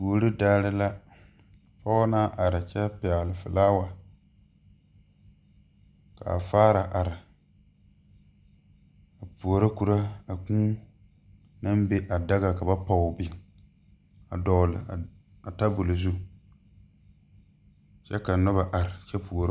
Kuori daare la pɔɔ naŋ are kyɛ pɛgle flaawa kaa faara are a puoro korɔ a kūū naŋ be a daga ka ba pɔge biŋ a dɔgle a tabol zu kyɛ ka nobɔ are kyɛ puoro.